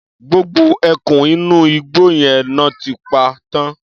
Gbogbo ẹkùn inú igbó yẹn lọ́ ti pa tán.